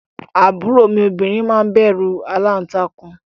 Àbúrò mi obìnrin máa ń bẹ̀rù aláǹtakùn